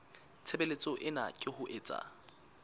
tshebeletso ena ke ho etsa